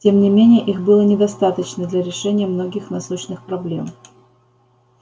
тем не менее их было недостаточно для решения многих насущных проблем